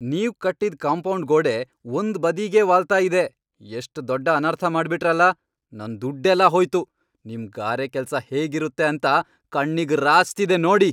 ನೀವ್ ಕಟ್ಟಿದ್ ಕಾಂಪೌಂಡ್ ಗೋಡೆ ಒಂದ್ ಬದಿಗೇ ವಾಲ್ತಾ ಇದೆ, ಎಷ್ಟ್ ದೊಡ್ ಅನರ್ಥ ಮಾಡ್ಬಿಟ್ರಲ್ಲ! ನನ್ ದುಡ್ಡೆಲ್ಲ ಹೋಯ್ತು, ನಿಮ್ ಗಾರೆ ಕೆಲ್ಸ ಹೇಗಿರುತ್ತೆ ಅಂತ ಕಣ್ಣಿಗ್ ರಾಚ್ತಿದೆ ನೋಡಿ.